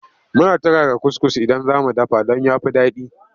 Muna turara kuskus idan za mu dafa don ya fi daɗi.